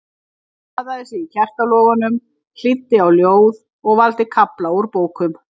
Nú baðaði hún sig í kertalogunum, hlýddi á ljóð og valda kafla úr bókum.